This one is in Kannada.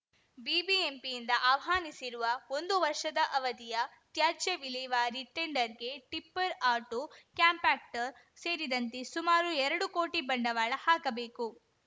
ಬಿಬಿಎಂಪಿಯಿಂದ ಆಹ್ವಾನಿಸಿರುವ ಒಂದು ವರ್ಷದ ಅವಧಿಯ ತ್ಯಾಜ್ಯ ವಿಲೇವಾರಿ ಟೆಂಡರ್‌ಗೆ ಟಿಪ್ಪರ್‌ ಆಟೋ ಕಾಂಪ್ಯಾಕ್ಟರ್‌ ಸೇರಿದಂತೆ ಸುಮಾರು ಎರಡು ಕೋಟಿ ಬಂಡವಾಳ ಹಾಕಬೇಕು